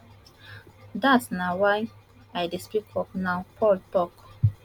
dat na why i dey speak up now paul tok